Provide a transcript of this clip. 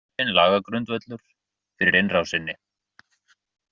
Hæpinn lagagrundvöllur fyrir innrásinni